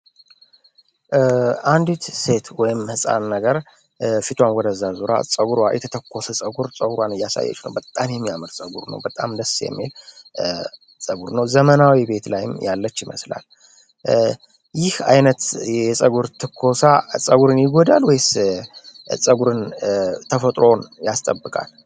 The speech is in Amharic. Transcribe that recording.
አንዲት ሴት ወይም ሕፃን ነገር ፊቷዋን ወደ ዛዙራ ፀጉር ዋኢት የተኮሰ ጸጉር ጸውራን እያሳየች ነው በጣም የሚያምር ጸጉር ነው በጣም ደስ የሜል ጸቡር ነው ዘመናዊ ቤት ላይም ያለች ይመስላል ይህ ዓይነት የጸጉር ተኮሳ ጸጉርን ይገዳል ወይስ ጸጉርን ተፈጥሮዎን ያስጠብቃል፡፡